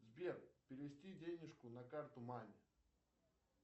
сбер перевести денежку на карту маме